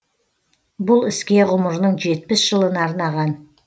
бұл іске ғұмырының жетпіс жылын арнаған